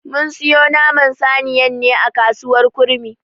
Mun siyo Naman saniyan ne a kasuwar kurmi.